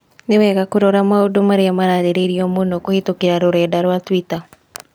Nĩ wega kũrora maũndũ marĩa mararĩrĩrio mũno kũhītũkīra rũrenda rũa tũita